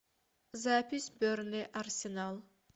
запись бернли арсенал